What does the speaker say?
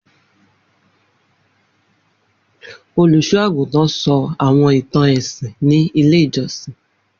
Olusoagutan sọ awọn itan ẹsin ni ile ijọsin.